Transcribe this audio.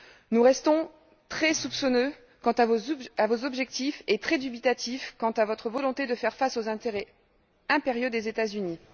Nous restons très soupçonneux quant à vos objectifs et très dubitatifs quant à votre volonté de faire face aux intérêts impériaux des États Unis.